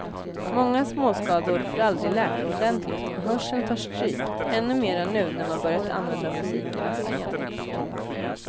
Många småskador får aldrig läka ordentligt och hörseln tar stryk, ännu mer nu när man börjat använda musik nästan jämt.